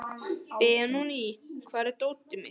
Benóný, hvar er dótið mitt?